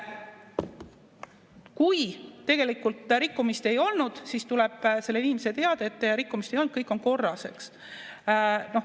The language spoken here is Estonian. Kui tegelikult rikkumist ei olnud, siis tuleb sellele inimesele teade, et rikkumist ei olnud, kõik on korras.